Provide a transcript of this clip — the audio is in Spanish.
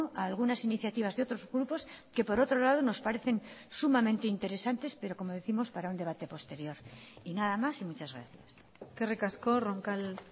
a algunas iniciativas de otros grupos que por otro lado nos parecen sumamente interesantes pero como décimos para un debate posterior y nada más y muchas gracias eskerrik asko roncal